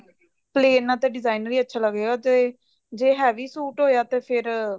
plan ਨਾਲ ਤਾਂ designer ਹੀ ਅੱਛਾ ਲੱਗੇਗਾ ਤੇ ਜੇ heavy ਸੂਟ ਹੋਇਆ ਤੇ ਫ਼ੇਰ